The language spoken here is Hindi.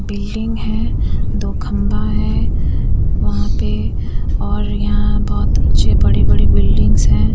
बिल्डिंग हैं दो खंभा है वहाँ पे और यहाँ बहोत अच्छे बड़े-बड़े बिल्डिंग्स हैं।